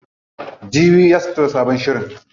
Jibi za su fito da sabon shirin.